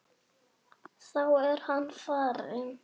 Þá er hann farinn.